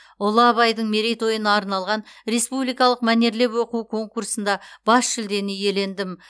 ұлы абайдың мерейтойына арналған республикалық мәнерлеп оқу конкурсында бас жүлдені иелендім